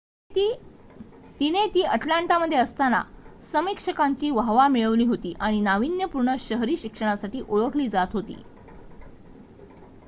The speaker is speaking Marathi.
तिने ती अटलांटामध्ये असताना समीक्षकांची वाहवा मिळवली होती आणि नावीन्यपूर्ण शहरी शिक्षणासाठी ओळखली जात होती